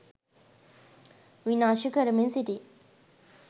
විනාශ කරමින් සිටී